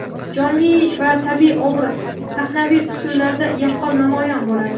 jonli va tabiiy obrazi sahnaviy usullarda yaqqol namoyon bo‘ladi.